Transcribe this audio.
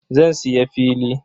Zan siya fili.